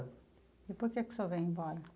E por que que o senhor veio embora?